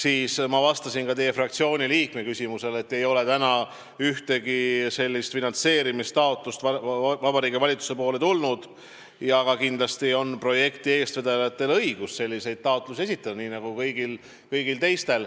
Ja ma vastasin ühe teie fraktsiooni liikme küsimusele, et seni ei ole Vabariigi Valitsusele laekunud ühtki finantseerimistaotlust, kuigi kindlasti on projekti eestvedajatel nagu kõigil teistel õigus selliseid taotlusi esitada.